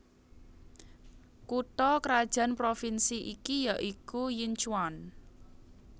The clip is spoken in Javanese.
Kutha krajan Provinsi iki ya iku Yinchuan